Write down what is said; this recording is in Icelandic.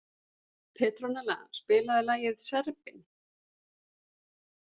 Petronella, spilaðu lagið „Serbinn“.